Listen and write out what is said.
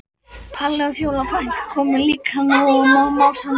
Palli og Fjóla frænka koma líka, móð og másandi.